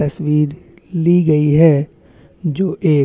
तस्वीर ली गई है जो एक --